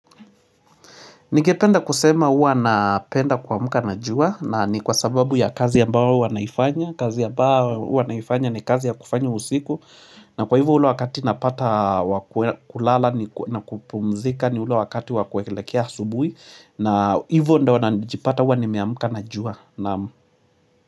Ningependa kusema huwa napenda kuamka na jua na ni kwa sababu ya kazi ambao huwa naifanya kazi ambao huwa naifanya ni kazi ya kufanya usiku na kwa hivyo ule wakati napata wa kulala na kupumzika ni ule wakati wa kuelekea asubuhi na hivyo ndo wanajipata huwa nimeamka na jua naam.